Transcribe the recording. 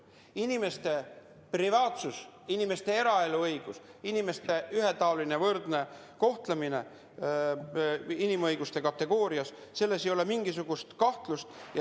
Inimeste õigus privaatsusele, eraelule, inimeste ühetaoline ja võrdne kohtlemine inimõiguste seisukohalt – selles ei ole mingisugust kahtlust.